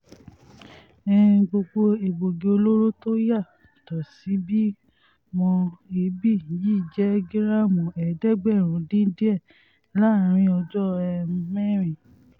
um gbogbo egbòogi olóró tó yá tó sì bí mọ́ èébì yìí jẹ́ gíráàmù ẹ̀ẹ́dẹ́gbẹ̀rún dín díẹ̀ láàrin ọjọ́ um mẹ́rin